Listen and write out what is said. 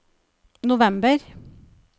november